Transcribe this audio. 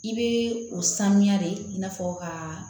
I bɛ o sanuya de i n'a fɔ ka